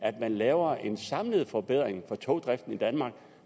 at man laver en samlet forbedring af togdriften i danmark